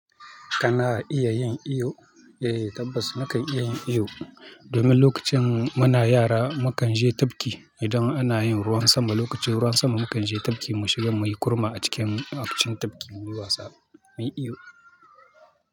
Kana iya yin iyo? Eh tabbas mukan iya yin iyo domin lokacin muna yara mukanje tafki idan anayin ruwan sama. Lokacin ruwan sama mukanje tafki mu shiga muyi kurma a cikin acikin tafki muyi wasa, muyi iyo.